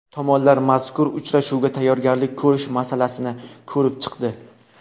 Tomonlar mazkur uchrashuvga tayyorgarlik ko‘rish masalalarini ko‘rib chiqdi.